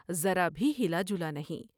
ذرا بھی ہلا جلا نہیں ۔